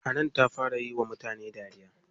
Hanan ta fara yiwa mutane dariya.